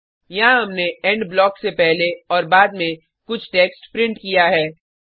यहाँ हमने end blocks से पहले और बाद में कुछ टेक्स्ट प्रिंट किया है